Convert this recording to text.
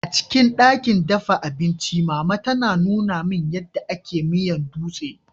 Acikin dakin dafa abinci, mama ta Nuna min, ya da ake yin miyan dutse.